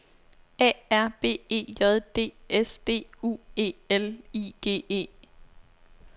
A R B E J D S D U E L I G E